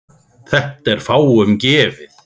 Þetta er fáum gefið.